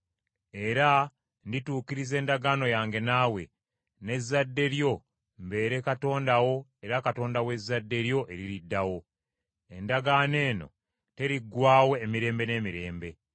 Era ndituukiriza endagaano yange naawe, n’ezzadde lyo mbeere Katonda wo era Katonda w’ezzadde lyo eririddawo. Endagaano eno teriggwaawo emirembe n’emirembe.